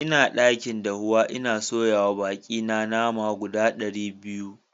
N'na dakin dafuwa, n'na soya ma baki na fi na nama guda dari biyu.